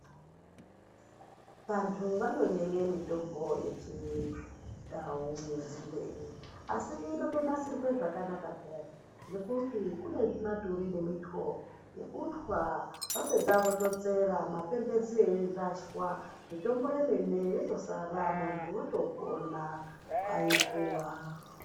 Vantu vanonyenye mitombo yechindau yenzinde iyi, asi inotonasirwe zvakanaka pheyani, ngekuti kune zvimaturi nemitwo zvekutwa, vapedza vototsera, mapemphezi eirashwa ,mitombo yemene yotosara, muntu otopona aipuwa.